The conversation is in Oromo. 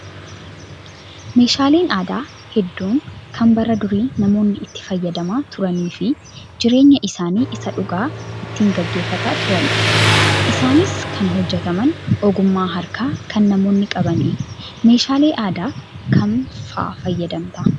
Meeshaaleen aadaa hedduun kan bara durii namoonni itti fayyadamaa turanii fi jireenya isaanii isa dhugaa ittiin gaggeeffataa turanidha. Isaanis kan hojjataman ogummaa harkaa kan namoonni qabaniini. Meeshaalee aadaa kam fa'aa fayyadamta ?